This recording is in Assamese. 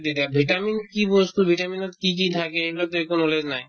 দি দে vitamin কি বস্তু vitamin ত কি কি থাকে এইবিলাকতো একো knowledge নাই